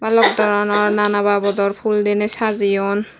bhalok doronor nana babodor fhool dine sajeyun.